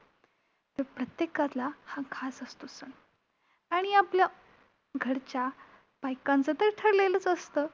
प्रत्येकाला हा खास असतो सण! आणि आपलं घरच्या बायकांचं तर ठरलेलंच असतं!